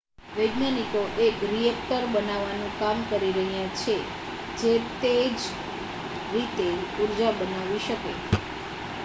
વૈજ્ઞાનિકો એક રિએક્ટર બનાવવાનું કામ કરી રહ્યા છે જે તે જ રીતે ઊર્જા બનાવી શકે